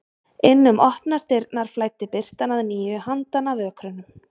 Inn um opnar dyrnar flæddi birtan að nýju handan af ökrunum.